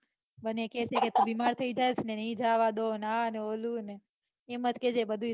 મને કેસે તું બીમાર થઇ જાશે ને નઈ જવા આ ને ઓલું ને એમ જ કેસે બધુંય